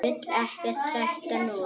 Vil ekkert sætt núna.